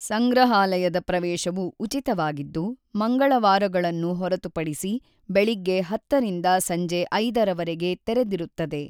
ಸಂಗ್ರಹಾಲಯದ ಪ್ರವೇಶವು ಉಚಿತವಾಗಿದ್ದು, ಮಂಗಳವಾರಗಳನ್ನು ಹೊರತುಪಡಿಸಿ ಬೆಳಿಗ್ಗೆ ೧೦ರಿಂದ ಸಂಜೆ ೫ರವರೆಗೆ ತೆರೆದಿರುತ್ತದೆ.